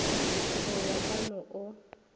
go ya ka mo o